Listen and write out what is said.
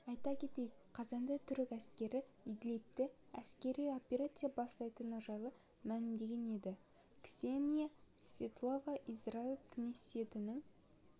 айта кетейік қазанда түрік әскері идлибте әскери операция бастайтыны жайлы мәлімдеген еді ксения светлова израиль кнессетінің